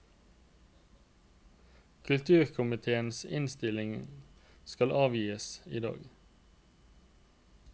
Kulturkomitéens innstilling skal avgis i dag.